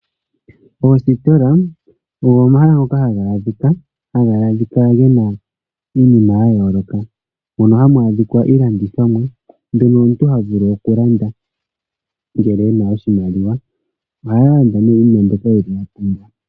Oositola ogo omahala ngoka haga adhika gena iinima yayooloka, mono muna iilandithomwa mbyono omuntu haya vulu okulanda ngele ena oshimaliwa, ohaya landa ne iinima mbyoka yeli ya pumbwa.